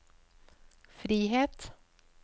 frihet